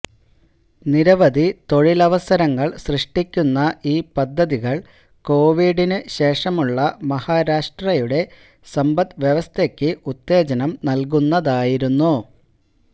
നിരവധി തൊഴിലവസരങ്ങള് സൃഷ്ടിക്കുന്ന ഈ പദ്ധതികള് കോവിഡിനു ശേഷമുള്ള മഹാരാഷ്ട്രയുടെ സമ്പദ്വ്യവസ്ഥയ്ക്ക് ഉത്തേജനം നല്കുന്നതായിരുന്നു